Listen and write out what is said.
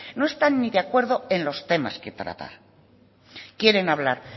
no están ni de acuerdo en los temas que tratar quieren hablar